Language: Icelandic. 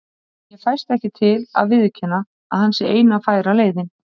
En ég fæst ekki til að viðurkenna, að hann sé eina færa leiðin.